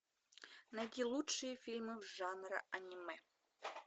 найти лучшие фильмы жанра аниме